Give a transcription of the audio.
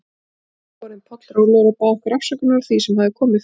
Þá var pabbi orðinn pollrólegur og bað okkur afsökunar á því sem hafði komið fyrir.